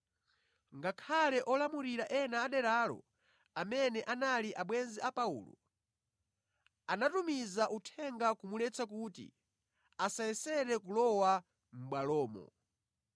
Ngakhale olamulira ena aderalo, amene anali abwenzi a Paulo, anatumiza uthenga kumuletsa kuti asayesere kulowa mʼbwalomo.